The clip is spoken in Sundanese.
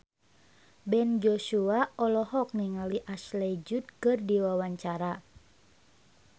Ben Joshua olohok ningali Ashley Judd keur diwawancara